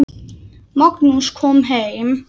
Magnús kom heim.